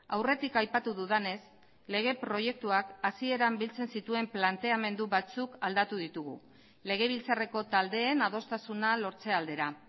aurretik aipatu dudanez lege proiektuak hasieran biltzen zituen planteamendu batzuk aldatu ditugu legebiltzarreko taldeen adostasuna lortze aldera